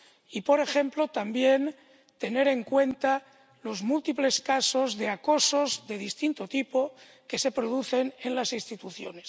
y, por ejemplo también, tener en cuenta los múltiples casos de acosos de distinto tipo que se producen en las instituciones.